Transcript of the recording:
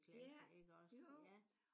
Ja jo